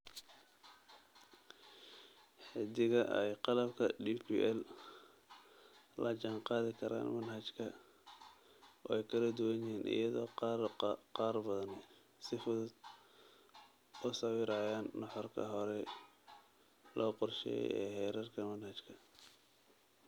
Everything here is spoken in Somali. Xaddiga ay qalabka DPL la jaanqaadi karaan manhajka way kala duwan yihiin, iyadoo qaar badani si fudud u sawirayaan nuxurka horay loo qorsheeyay ee heerarka manhajka.